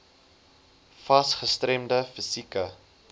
fas gestremde fisieke